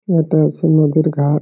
এইটা হচ্ছে নদীর ঘা-আ-ট --